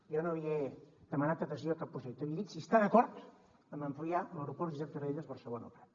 jo no li he demanat adhesió a cap projecte li he dit si està d’acord en ampliar l’aeroport josep tarradellas barcelona el prat